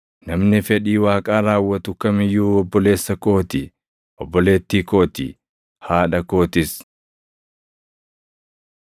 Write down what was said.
Namni fedhii Waaqaa raawwatu kam iyyuu obboleessa koo ti; obboleettii koo ti; haadha kootis.”